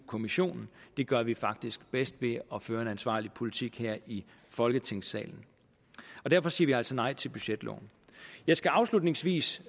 kommissionen det gør vi faktisk bedst ved at føre en ansvarlig politik her i folketingssalen derfor siger vi altså nej til budgetloven jeg skal afslutningsvis